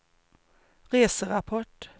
reserapport